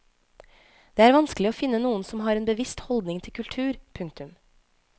Det er vanskelig å finne noen som har en bevisst holdning til kultur. punktum